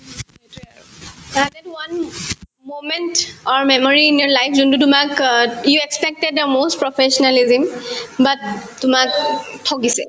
সেহেতেতো moment or memory in your life যোনতো তোমাক অ you expected the most professionalism but তোমাকো ঠগিছে